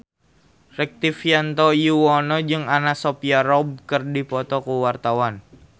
Rektivianto Yoewono jeung Anna Sophia Robb keur dipoto ku wartawan